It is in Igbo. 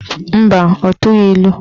Mba, ọ tụghị ilu.